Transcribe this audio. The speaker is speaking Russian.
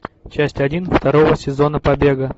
часть один второго сезона побега